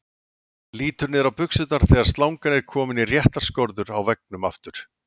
Lítur niður á buxurnar þegar slangan er komin í réttar skorður á veggnum aftur.